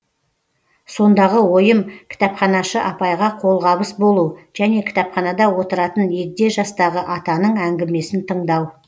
сондағы ойым кітапханашы апайға қолғабыс болу және кітапханада отыратын егде жастағы атаның әңгімесін тыңдау